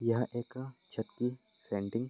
यह एक छत की पैंटिंग --